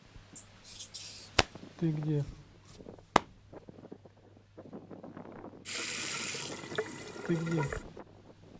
ты где ты где